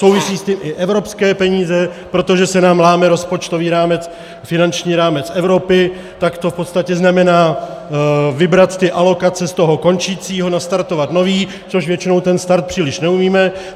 Souvisí s tím i evropské peníze, protože se nám láme rozpočtový rámec, finanční rámec Evropy, tak to v podstatě znamená vybrat ty alokace z toho končícího, nastartovat nový, což většinou ten start příliš neumíme.